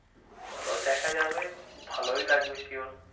চলো দেখা যাবে, ভালোই লাগবে sure.